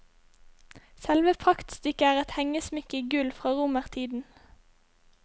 Selve praktstykket er et hengesmykke i gull fra romertiden.